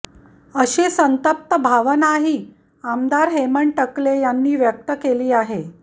अशी संतप्त भावनाही आमदार हेमंत टकले यांनी व्यक्त केली आहे